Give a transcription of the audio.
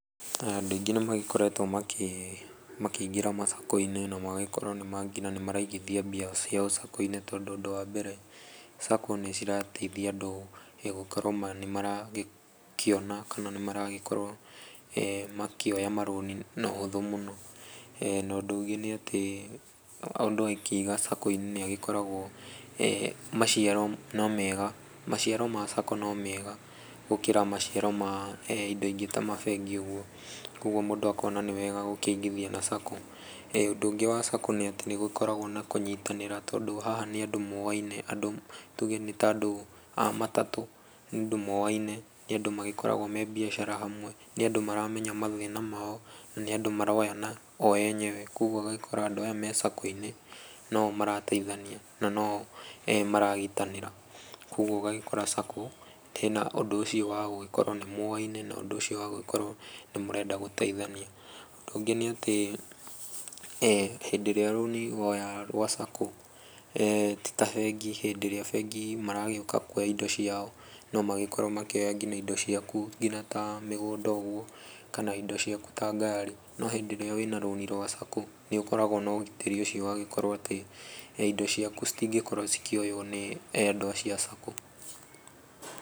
Andũ aingĩ nĩ magĩkoretwo makĩ makĩingĩra masacco-inĩ na magagĩkorwo nĩ mara nginya nĩ maraigithia mbia ciao sacco-inĩ, tondũ ũndũ wa mbere, sacco nĩ cirateithia andũ gũkorwo nĩ maragĩkiona kana nĩ maragĩkorwo makĩoya marũni na ũhũthũ mũno, na ũndũ ũngĩ nĩ atĩ mũndũ akĩiga sacco-inĩ nĩ agĩkoragwo maciaro no mega, maciaro ma sacco no mega gũkĩra maciaro ma indo ingĩ ta mabengi ũguo, koguo mũndũ akona nĩ wega gũkĩigithia na sacco, ũndũ ũngĩ wa sacco nĩ atĩ nĩ gũgĩkoragwo na kũnyitanĩra tondũ haha nĩ andũ moyaine andũ tuge nĩ ta andũ a matatũ ni andũ moyaine, nĩ andũ magĩkoragwo me mbiacara hamwe, nĩ andũ maramenya mathĩna mao, na nĩ andũ maroyana o enyewe, koguo ũgagĩkora andũ aya me sacco-inĩ no o marateithania na no o maranyitanĩra, koguo ũgagĩkora sacco ina ũndũ ũcio wa gũgĩkorwo nĩ mũyaine naũndũ ũcio wa gũgĩkorwo nĩ mũrenda gũteithania. Ũndũ ũngĩ nĩ atĩ hĩndĩ ĩrĩa rũni woya, rwa sacco ti ta bengi, hĩndĩ ĩrĩa bengi maragĩũka kuoya indo ciao, no magĩkorwo magĩũka kuoya nginya indo ciaku nginya ta mĩgũnda ũguo kana indo ciaku ta ngaari, no hĩndĩ ĩrĩa wĩna rũni rwa sacco, nĩũkoragwo na ũgitĩri ũcio wa gũkorwo atĩ indo ciaku citingĩkorwo cikĩoywo nĩ andũ acio a sacco.